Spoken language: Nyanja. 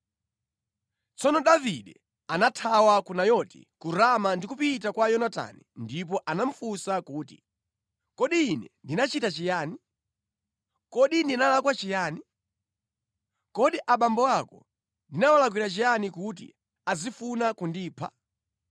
Tsono Davide anathawa ku Nayoti ku Rama ndi kupita kwa Yonatani ndipo anamufunsa kuti, “Kodi ine ndinachita chiyani? Kodi ndinalakwa chiyani? Kodi abambo ako ndinawalakwira chiyani kuti azifuna kundipha?”